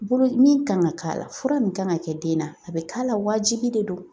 Bolo min kan ka k'a la fura min kan ka kɛ den na a bɛ k'a la waajibi de don